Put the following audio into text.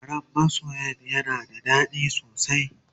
labaran masoyan yana da dadi sosai